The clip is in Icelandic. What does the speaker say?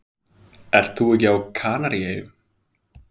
Ert þú ekki á Kanaríeyjum?